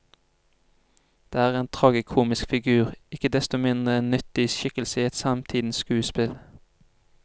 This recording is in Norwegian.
Det er en tragikomisk figur, ikke desto mindre en nyttig skikkelse i et samtidens skuespill.